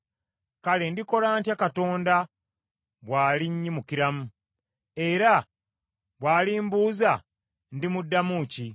kale ndikola ntya Katonda bw’alinnyimukiramu? Era bw’alimbuuza, ndimuddamu ki?